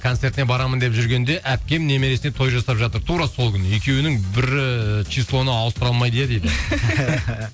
концертіне барамын деп жүргенде әпкем немересіне той жасап жатыр тура сол күні екеуінің бірі числоны ауыстыра алмайды иә дейді